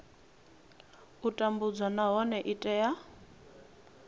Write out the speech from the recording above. u tambudzwa nahone i tea